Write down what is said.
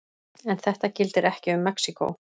En þetta gildir ekki um Mexíkó.